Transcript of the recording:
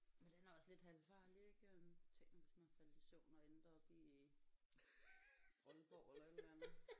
Men den er også lidt halvfarlig ik øh tænk nu hvis man faldt i søvn og endte oppe i Aalborg eller et eller andet